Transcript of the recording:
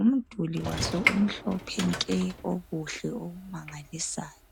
Umduli waso umhlophe nke okuhle okumangalisayo.